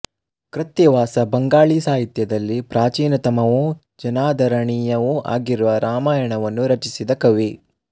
ಕೃತ್ತಿವಾಸ ಬಂಗಾಳೀ ಸಾಹಿತ್ಯದಲ್ಲಿ ಪ್ರಾಚೀನತಮವೂ ಜನಾದರಣೀಯವೂ ಆಗಿರುವ ರಾಮಾಯಣವನ್ನು ರಚಿಸಿದ ಕವಿ